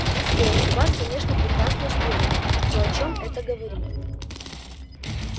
не спорю у вас конечно прекрасные шпионы но о чем это говорит